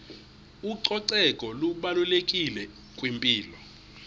ucoceko lubalulekile kwimpilo